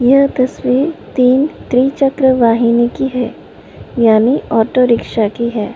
यह तस्वीर तीन त्रिचक्र वाहिनी की है यानी ऑटो